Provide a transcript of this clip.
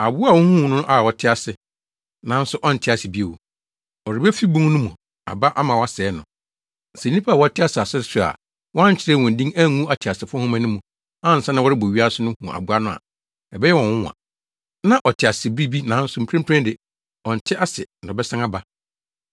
Aboa a wuhuu no no na ɔte ase, nanso ɔnte ase bio. Ɔrebefi bun no mu aba ama wɔasɛe no. Sɛ nnipa a wɔte asase so a wɔankyerɛw wɔn din angu ateasefo nhoma no mu ansa na wɔrebɔ wiase no hu aboa no a, ɛbɛyɛ wɔn nwonwa. Na ɔte ase bere bi, nanso mprempren de, ɔnte ase na ɔbɛsan aba.